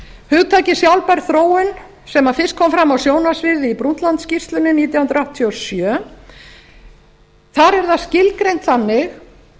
hugtakið sjálfbær þróun sem fyrst kom fram á sjónarsviðið í brundtlandsskýrslunni nítján hundruð áttatíu og sjö er skilgreint þannig